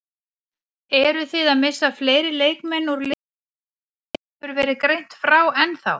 Eruð þið að missa fleiri leikmenn úr liðinu sem ekki hefur verið greint frá ennþá?